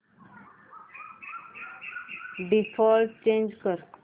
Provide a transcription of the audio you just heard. default change कर